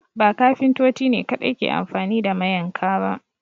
Ba Kafintoti ne kaɗai ke anfani da mayanka ba